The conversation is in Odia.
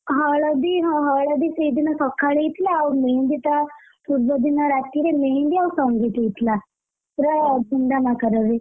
ହଳଦୀ ହଁ ହଳଦୀ ସେଇଦିନ ସଖାଳେ ହେଇଥିଲା ଆଉ ମେହେନ୍ଦୀ ତା ପୂର୍ବଦିନ ରାତିରେ ମେହେନ୍ଦୀ ଆଉ ସଙ୍ଗୀତ ହେଇଥିଲା! ପୁରା ଧୂମଧାମ ଆକାରରେ,